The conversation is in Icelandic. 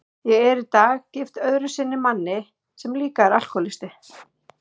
Ég er í dag gift öðru sinni manni sem líka er alkohólisti.